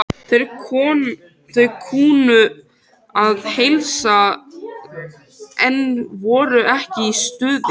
Þeir kunnu að heilsa, en voru ekki í stuði.